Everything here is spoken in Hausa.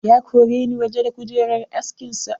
Ya koreni waje da kujerar askin sa.